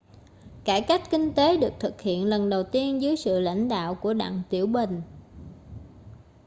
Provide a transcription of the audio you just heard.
cải cách kinh tế được thực hiện lần đầu tiên dưới sự lãnh đạo của đặng tiểu bình